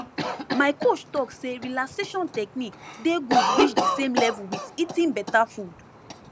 my coach talk say relaxation technique dey good reach the same level with eating beta food